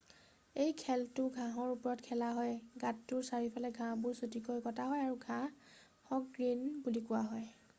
এই খেলটো ঘাঁহৰ ওপৰত খেলা হয় গাঁতটোৰ চাৰিওফালৰ ঘাঁহবোৰ চুটিকৈ কটা হয় আৰু ঘাঁহক গ্ৰীণ বুলি কোৱা হয়